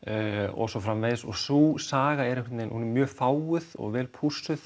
og svo framvegis og sú saga er einhvern veginn mjög fáguð og vel